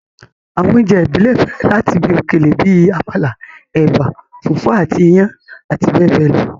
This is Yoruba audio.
Àwọn oúnjẹ ìbílẹ̀ bẹ̀rẹ̀ láti ibi òkèlè bíi àmàlà, ẹ̀bà, fùfú àti iyán àti bẹẹ bẹẹ lọ.